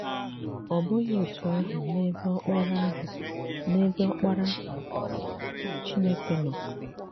Ọ̀ bụghị otú ahụ n’ebe Ọkparà ahụ n’ebe Ọkparà Chínèkè nọ.